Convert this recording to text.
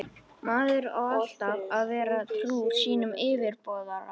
Maður á alltaf að vera trúr sínum yfirboðara.